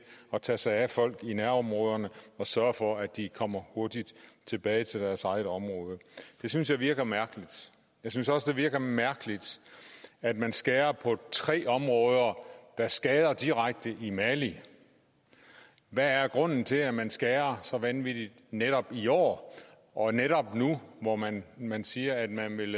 at tage sig af folk i nærområderne og sørge for at de kommer hurtigt tilbage til deres eget område det synes jeg virker mærkeligt jeg synes også det virker mærkeligt at man skærer på tre områder der skader direkte i mali hvad er grunden til at man skærer så vanvittigt netop i år og netop nu hvor man man siger at man vil